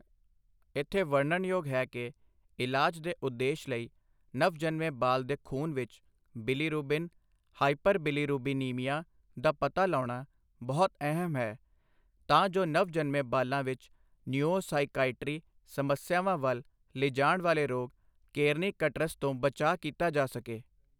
ਇੱਥੇ ਵਰਨਣਯੋਗ ਹੈ ਕਿ ਇਲਾਜ ਦੇ ਉਦੇਸ਼ ਲਈ ਨਵ ਜਨਮੇ ਬਾਲ ਦੇ ਖ਼ੂਨ ਵਿੱਚ ਬਿਲੀਰੂਬਿਨ ਹਾਈਪਰਬਿਲੀਰੂਬਿਨੀਮੀਆ ਦਾ ਪਤਾ ਲਾਉਣਾ ਬਹੁਤ ਅਹਿਮ ਹੈ, ਤਾਂ ਜੋ ਨਵ ਜਨਮੇ ਬਾਲਾਂ ਵਿੱਚ ਨਿਊਓ ਸਾਇਕਾਈਟ੍ਰੀ ਸਮੱਸਿਆਵਾਂ ਵੱਲ ਲਿਜਾਣ ਵਾਲੇ ਰੋਗ ਕੇਰਨੀਕਟਰਸ ਤੋਂ ਬਚਾਅ ਕੀਤਾ ਜਾ ਸਕੇ।